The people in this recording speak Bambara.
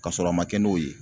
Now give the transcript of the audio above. Kasɔrɔ a ma kɛ n'o ye